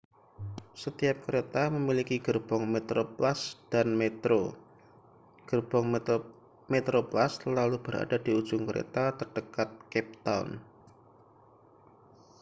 setiap kereta memiliki gerbong metroplus dan metro gerbong metroplus selalu berada di ujung kereta terdekat cape town